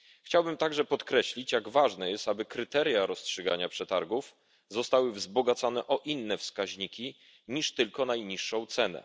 Chciałbym także podkreślić, jak ważne jest, aby kryteria rozstrzygania przetargów zostały wzbogacone o inne wskaźniki niż tylko najniższa cena.